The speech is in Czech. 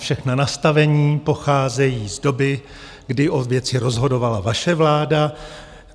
Všechna nastavení pocházejí z doby, kdy o věci rozhodovala vaše vláda.